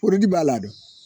Porodi b'a la